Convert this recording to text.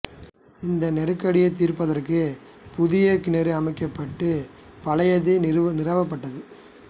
இந் நெருக்கடியைத் தீர்ப்பதற்கு புதிய கிணறு அமைக்கப்பட்டு பழையது நிரவப்படது